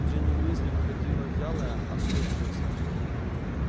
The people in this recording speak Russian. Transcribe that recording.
джинни уизли ходила вялая осунувшаяся